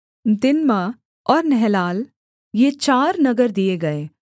दिम्ना और नहलाल ये चार नगर दिए गए